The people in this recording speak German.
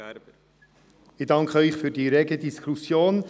Ich danke Ihnen für die rege Diskussion.